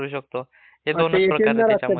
त्या अकाउंटला एटीएम नसते.